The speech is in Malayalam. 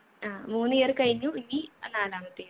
ആ മൂന്ന് year കഴിഞ്ഞു ഇനി അഹ് നാലാമത്തെത്